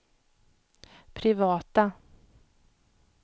privata